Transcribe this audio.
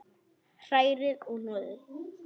Hrærið og hnoðið.